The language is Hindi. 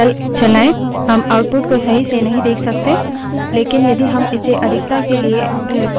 हम output को सही से नहीं देख सकते लेकिन यदि हम इसे अधिकता के लिए pipe से जोडें हम कर सकते हैं